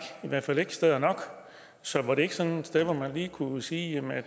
i hvert fald ikke steder nok så var det ikke sådan et sted hvor man lige kunne sige at